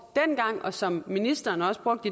dengang og som ministeren også brugte